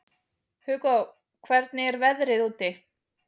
Hugó, hvernig er veðrið úti?